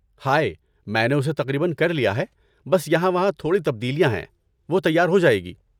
High, میں نے اسے تقریباً کر لیا ہے، بس یہاں وہاں تھوڑی تبدیلیاں ہیں، وہ تیار ہو جائے گی۔